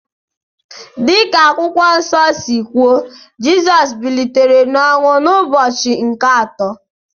Dị ka Akwụkwọ Nsọ si kwuo, Jizọs bilitere n’ọnwụ n’ụbọchị nke atọ